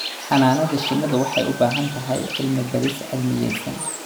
Xannaanada shinnidu waxay u baahan tahay cilmi-baadhis cilmiyaysan.